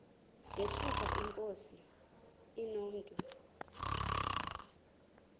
yesuka inkosi inomntu